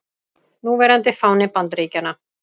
Núverandi fáni Bandaríkjanna.